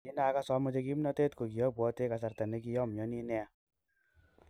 Kin agas omoche kimnotet ko kiopotwe kasarta ne kiomioni nia.